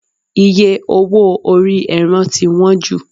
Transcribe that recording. iye owó ori eran ti wan ju